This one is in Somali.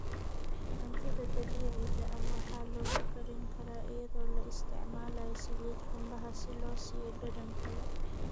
Cuntada dabiiciga ah waxaa lagu karin karaa iyadoo la isticmaalayo saliid qumbaha si loo siiyo dhadhan kale.